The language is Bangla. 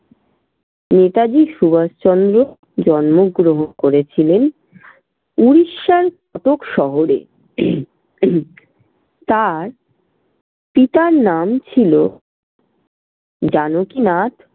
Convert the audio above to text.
নেতাজি সুভাষচন্দ্র জন্মগ্রহণ করেছিলেন উড়িষ্যার কটক শহরে তার পিতার নাম ছিল জানকীনাথ